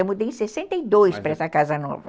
Eu mudei em sessenta e dois para essa casa nova.